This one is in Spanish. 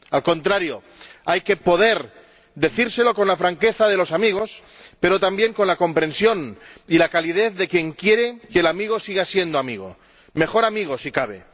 Al contrario, hay que poder decírselo con la franqueza de los amigos, pero también con la comprensión y la calidez de quien quiere que el amigo siga siendo amigo —mejor amigo, si cabe—.